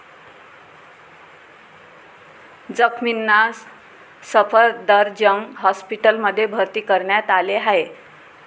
जखमींना सफदरजंग हॉस्पिटलमध्ये भर्ती करण्यात आले आहे.